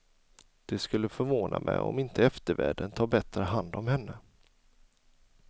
Det skulle förvåna mig om inte eftervärlden tar bättre hand om henne.